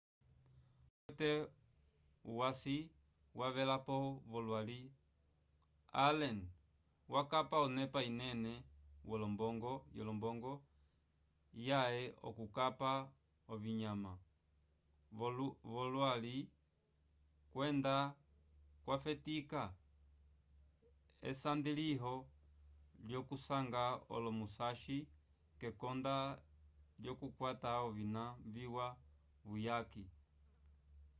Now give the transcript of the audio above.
omunu umwe okwete uhwasi wavelapo v'olwali allen wakapa onepa inene yolombongo yãhe k'okupa ovinyama vyololwi kwenda kwafetika esandiliyo lyokusanga olo-musashi kekonda lyokukwata ovina viwa vuyaki